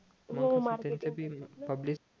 हो marketing public